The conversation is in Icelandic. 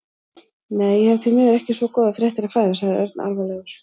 Nei, ég hef því miður ekki svo góðar fréttir að færa sagði Örn alvarlegur.